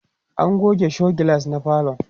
an goge show glass na falon